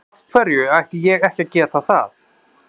Af hverju ætti ég ekki að geta það?